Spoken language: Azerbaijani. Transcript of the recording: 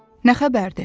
Nə xəbərdir?